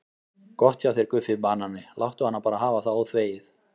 Gott hjá þér Guffi banani, láttu hana bara hafa það óþvegið.